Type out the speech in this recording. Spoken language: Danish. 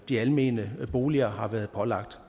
de almene boliger har været pålagt